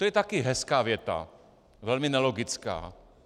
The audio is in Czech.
- To je také hezká věta, velmi nelogická.